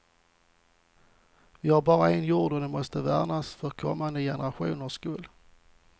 Vi har bara en jord och den måste värnas för kommande generationers skull.